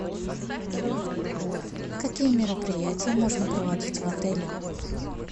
какие мероприятия можно проводить в отеле